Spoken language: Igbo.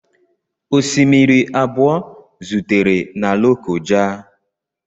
Osimiri abụọ zutere na Lokoja.